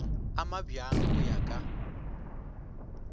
a mabjang go ya ka